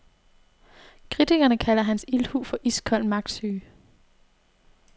Kritikerne kalder hans ildhu for iskold magtsyge.